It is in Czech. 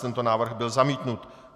Tento návrh byl zamítnut.